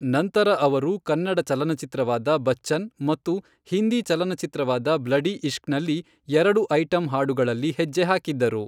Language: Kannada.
ನಂತರ ಅವರು ಕನ್ನಡ ಚಲನಚಿತ್ರವಾದ ಬಚ್ಚನ್ ಮತ್ತು ಹಿಂದಿ ಚಲನಚಿತ್ರವಾದ ಬ್ಲಡಿ ಇಷ್ಕ್ನಲ್ಲಿ ಎರಡು ಐಟಂ ಹಾಡುಗಳಲ್ಲಿ ಹೆಜ್ಜೆ ಹಾಕಿದ್ದರು.